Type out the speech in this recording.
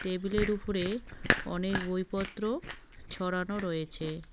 Table -এর উফরে অনেক বই পত্র ছড়ানো রয়েছে।